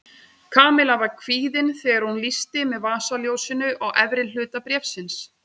Kamilla var kvíðin þegar hún lýsti með vasaljósinu á efri hluta bréfsins.